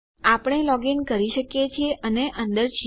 આપણે લોગીન કરી શકીએ છીએ અને અંદર છીએ